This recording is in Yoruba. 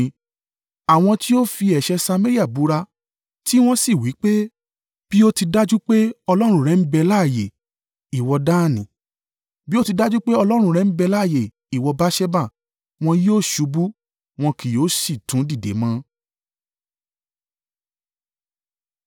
Àwọn tí ó fi ẹ̀ṣẹ̀ Samaria búra, tí wọ́n sì wí pé, ‘Bí ó ti dájú pé ọlọ́run rẹ ń bẹ láààyè, ìwọ Dani,’ bí ó ti dájú pè ọlọ́run rẹ ń bẹ láààyè, ìwọ Beerṣeba, wọ́n yóò ṣubú, wọn kì yóò si tún dìde mọ.”